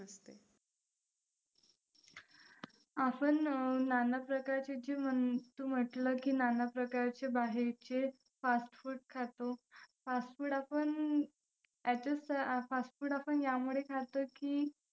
असं नाना प्रकारची जेवण तू म्हंटलं की नाना प्रकारचे बाहेरचे fast food खातो, fast food आपण fast food आपण यामुळे खातो की